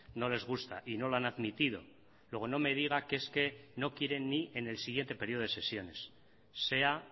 no les gusta y no lo han admitido luego no me diga que es que no quieren ni en el siguiente periodo de sesiones sea